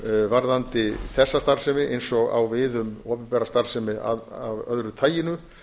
varðandi þessa starfsemi eins og á við um opinbera starfsemi af öðru taginu